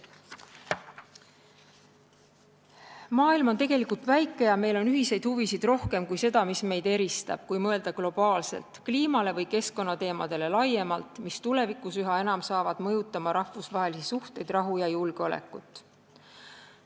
Maailm on tegelikult väike ja meil on ühiseid huvisid rohkem kui seda, mis meid eristab, kui mõelda globaalselt kliimale või keskkonnateemadele laiemalt, mis tulevikus üha enam hakkavad mõjutama rahvusvahelisi suhteid, rahu ja julgeolekut.